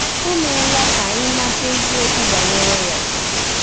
Ọ meela ka anyị mata eziokwu banyere ya.